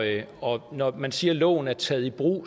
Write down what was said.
og når man siger at loven er taget i brug